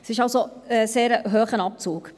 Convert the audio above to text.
Es ist also ein sehr hoher Abzug.